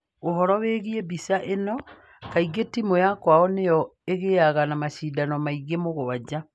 Ũhoro wĩgiĩ mbica ĩno: kaingĩ timũ ya kwao nĩyo ĩgĩaga na macindano maingĩ mũgwanja.